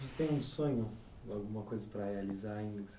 Você tem um sonho, alguma coisa para realizar ainda?